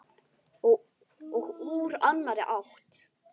Og úr annarri átt.